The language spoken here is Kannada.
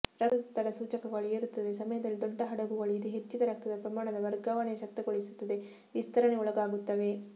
ರಕ್ತದೊತ್ತಡ ಸೂಚಕಗಳು ಏರುತ್ತದೆ ಸಮಯದಲ್ಲಿ ದೊಡ್ಡ ಹಡಗುಗಳು ಇದು ಹೆಚ್ಚಿದ ರಕ್ತದ ಪ್ರಮಾಣದ ವರ್ಗಾವಣೆ ಶಕ್ತಗೊಳಿಸುತ್ತದೆ ವಿಸ್ತರಣೆ ಒಳಗಾಗುತ್ತವೆ